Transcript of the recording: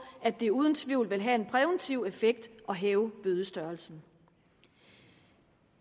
at det uden tvivl vil have en præventiv effekt at hæve bødestørrelsen